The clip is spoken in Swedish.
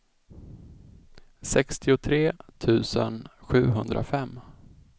sextiotre tusen sjuhundrafem